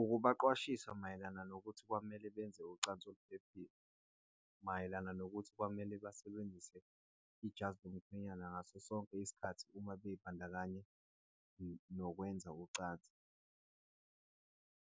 Ukubaqwashisa mayelana nokuthi kwamele benze ucansi oluphephile. Mayelana nokuthi kwamele basebenzise ijazi lomkhwenyana ngaso sonke isikhathi uma bey'bandakanya nokwenza ucansi.